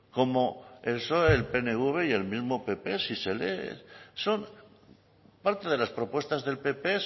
como el psoe el pnv y el mismo pp si se lee son parte de las propuestas del pp